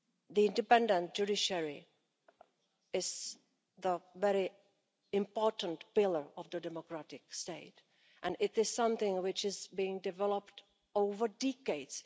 The independent judiciary is a very important pillar of the democratic state and it is something which is being developed over decades.